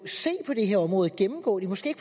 se på det her område gennemgå det måske